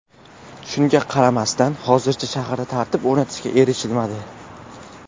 Shunga qaramasdan, hozircha shaharda tartib o‘rnatishga erishilmadi.